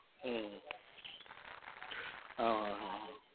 હમ હમ હા હા હા હા